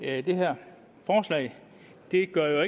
at det her forslag jo ikke gør